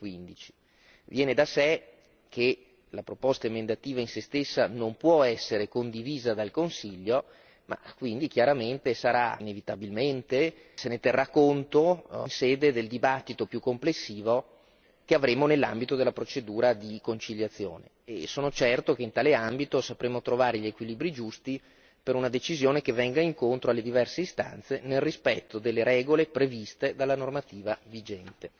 2015. Viene da sé che la proposta emendativa in se stessa non può essere condivisa dal Consiglio, ma quindi chiaramente inevitabilmente, se ne terrà conto in sede del dibattito più complessivo che avremo nell'ambito della procedura di conciliazione e sono certo che in tale ambito sapremo trovare gli equilibri giusti per una decisione che venga incontro alle diverse istanze nel rispetto delle regole previste dalla normativa vigente.